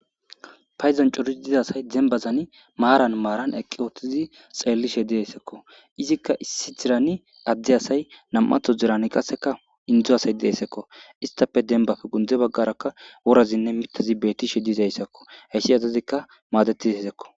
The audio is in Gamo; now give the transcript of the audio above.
payzon corisi diza asay dembazani maaran maaran eqqi ooththizi xeellishe deessekko izikka issi tirani addi asay nam7atho dirani qaseka indzo asay deessekko istafe denbag gundze baggarakka worazinne mitazi beettishe dizayssakko heyssi azazikka maadetizaysekko